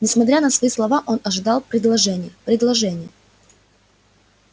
несмотря на свои слова он ожидал предложения предложения